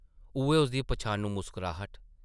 उʼऐ उसदी पन्छानू मुस्कराह्ट ।